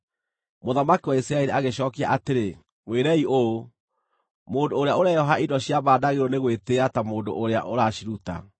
Mũthamaki wa Isiraeli agĩcookia atĩrĩ, “Mwĩrei ũũ: ‘Mũndũ ũrĩa ũreyooha indo cia mbaara ndaagĩrĩirwo nĩ gwĩtĩĩa ta mũndũ ũrĩa ũraciruta.’ ”